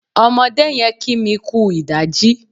Ọmọdé yẹn kí mi kú ìdájí.